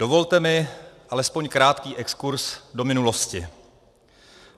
Dovolte mi alespoň krátký exkurz do minulosti.